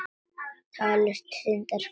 Taldist þar til syndar, gleðin.